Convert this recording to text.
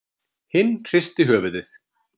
Hinn hristi höfuðið.